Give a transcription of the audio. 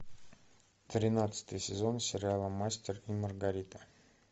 тринадцатый сезон сериала мастер и маргарита